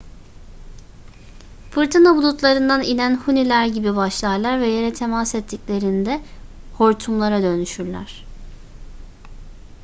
fırtına bulutlarından inen huniler gibi başlarlar ve yere temas ettiklerinde hortumlar"a dönüşürler